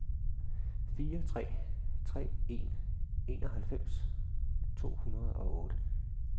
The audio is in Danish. fire tre tre en enoghalvfems to hundrede og otte